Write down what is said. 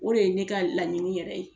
O de ye ne ka laɲini yɛrɛ ye.